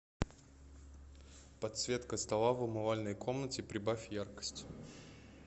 подсветка стола в умывальной комнате прибавь яркость